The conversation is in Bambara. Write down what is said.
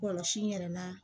Kɔlɔsi yɛrɛ la